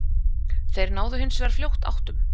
Þeir náðu hins vegar fljótt áttum